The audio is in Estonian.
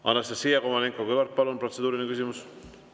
Anastassia Kovalenko-Kõlvart, palun, protseduuriline küsimus!